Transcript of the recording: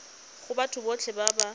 go batho botlhe ba ba